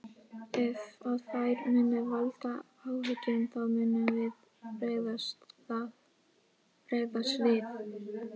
Ef að þær munu valda áhyggjum þá munum við bregðast við.